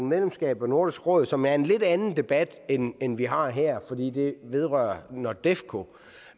medlemskab af nordisk råd som er en lidt anden debat end den vi har her fordi det vedrører nordefco